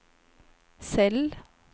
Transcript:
cell